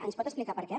ens pot explicar per què